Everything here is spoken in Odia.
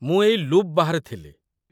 ମୁଁ ଏଇ ଲୁପ୍ ବାହାରେ ଥିଲି।